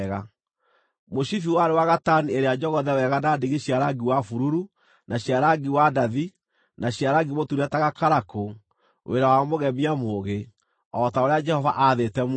Mũcibi warĩ wa gatani ĩrĩa njogothe wega na ndigi cia rangi wa bururu, na cia rangi wa ndathi, na cia rangi mũtune ta gakarakũ, wĩra wa mũgemia mũũgĩ, o ta ũrĩa Jehova aathĩte Musa.